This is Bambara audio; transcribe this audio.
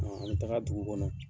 Ɔn an be taga dugu kɔnɔ.